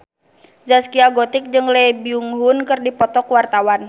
Zaskia Gotik jeung Lee Byung Hun keur dipoto ku wartawan